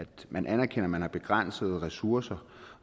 man anerkender at man har begrænsede ressourcer